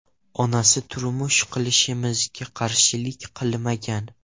Onasi turmush qurishimizga qarshilik qilmagan.